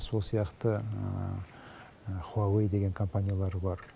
сол сияқты хуауей деген компаниялар бар